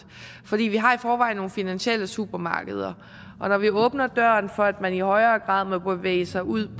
for vi har i forvejen nogle finansielle supermarkeder og når vi åbner døren for at man i højere grad må bevæge sig ud